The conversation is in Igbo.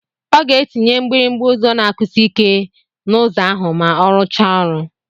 Ọ ga-etinye mgbịrịgba ụzọ na-akụsi ike n'ụzọ ahụ ma ọ rụchaa ọrụ.